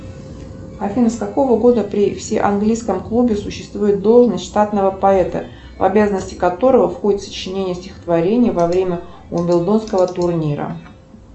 афина с какого года при всеанглийском клубе существует должность штатного поэта в обязанности которого входит сочинение стихотворения во время уимблдонского турнира